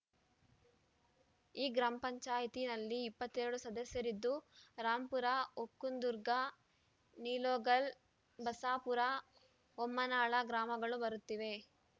ಈ ಗ್ರಾಮ ಪಂಚಾಯತಿಯಲ್ಲಿ ಇಪ್ಪತ್ತ್ ಎರಡು ಸದಸ್ಯರಿದ್ದು ರಾಂಪುರ ಒಕ್ಕುಂದುರ್ಗಾ ನಿಲೋಗಲ್‌ ಬಸಾಪೂರ ಬೊಮ್ಮನಾಳ ಗ್ರಾಮಗಳು ಬರುತ್ತವೆ